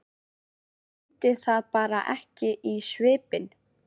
Ég mundi það bara ekki í svipinn.